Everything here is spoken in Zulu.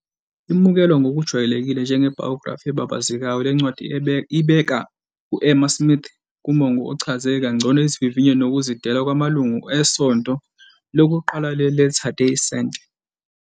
Imukelwa ngokujwayelekile njenge-biography ebabazekayo, le ncwadi ibeka u-Emma Smith kumongo ochaze kangcono izivivinyo nokuzidela kwamalungu esonto lokuqala le- Latter Day Saint.